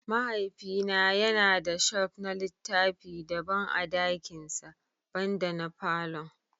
Mahaifina yana da shelf na littafi daban a dakinsa, banda na falon.